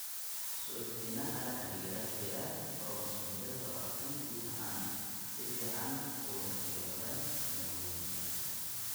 Suuxdinaha la xidhiidha giraanta koromosoomyada labatan guud ahaan si fiican ugama jawaabaan daawooyinka.